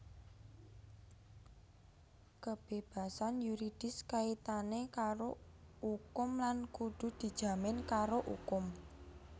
Kebébasan yuridis kaitané karo ukum lan kudu dijamin karo ukum